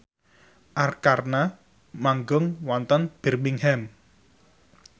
Arkarna manggung wonten Birmingham